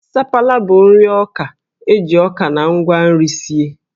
Sapala bụ nri ọka e ji ọka na ngwa nri sie